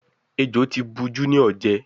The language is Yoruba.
Ẹjọ tí bù Junior jé.